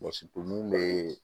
mun be